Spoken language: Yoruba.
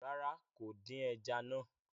Rárá, kò dín ẹja náà